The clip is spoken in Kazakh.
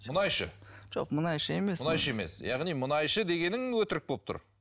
мұңайшы жоқ мұнайшы емес мұнайшы емес яғни мұнайшы дегенің өтірік болып тұр